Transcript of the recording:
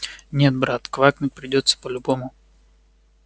нет брат квакнуть придётся по-любому